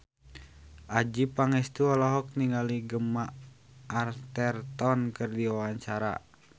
Adjie Pangestu olohok ningali Gemma Arterton keur diwawancara